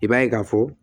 I b'a ye k'a fɔ